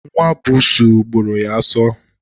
nwa mba bụrụ ya asọ